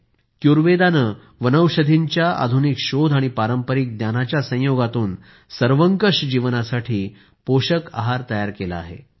क्युरवेदा क्युरवेडा ने वनौषधींच्या आधुनिक शोध आणि पारंपारिक ज्ञानाच्या संयोगातून सर्वंकष जीवनासाठी पोषक आहार तयार केला आहे